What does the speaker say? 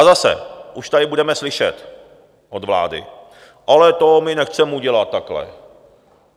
A zase, už tady budeme slyšet od vlády: Ale to my nechceme udělat takhle.